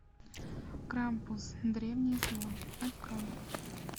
крампус древнее зло открой